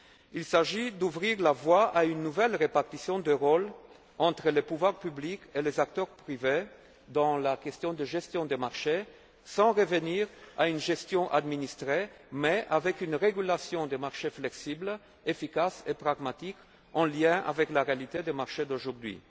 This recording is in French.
actuelle. Il s'agit d'ouvrir la voie à une nouvelle répartition des rôles entre les pouvoirs publics et les acteurs privés sur la question de la gestion des marchés, sans revenir à une gestion administrée, mais en adoptant une régulation des marchés flexible, efficace et pragmatique, en lien avec la réalité des marchés d'aujourd'hui.